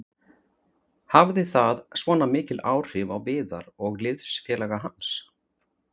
Hafði það svona mikil áhrif á Viðar og liðsfélaga hans?